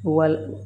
Wal